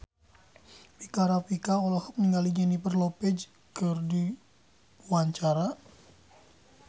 Rika Rafika olohok ningali Jennifer Lopez keur diwawancara